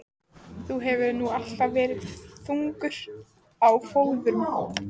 Þú hefur nú alltaf verið þungur á fóðrum.